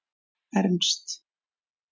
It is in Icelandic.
Ernst